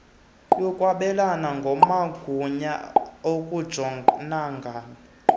yokwabelana ngamagunya okujonagana